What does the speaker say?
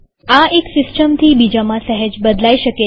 આ એક સિસ્ટમથી બીજામાં સહેજ બદલાય શકે છે